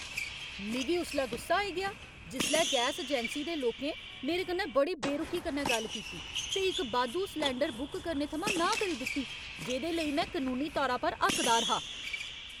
मिगी उसलै गुस्सा आई गेआ जिसलै गैस अजैंसी दे लोकें मेरे कन्नै बड़ी बेरुखी कन्नै गल्ल कीती ते इक बाद्धू सलैंडर बुक करने थमां नांह् करी दित्ती जेह्‌दे लेई में कनूनी तौरा पर हक्कदार हा।